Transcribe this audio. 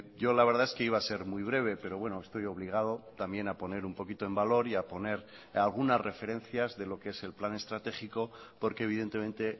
yo la verdad es que iba a ser muy breve pero bueno estoy obligado también a poner un poquito en valor y a poner algunas referencias de lo que es el plan estratégico porque evidentemente